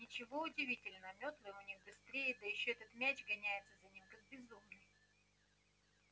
ничего удивительного мётлы-то у них быстрее да ещё этот мяч гоняется за ним как безумный